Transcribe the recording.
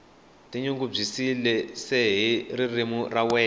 tinyungubyise hi ririmi ra wena